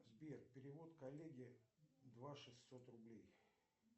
сбер перевод коллеге два шестьсот рублей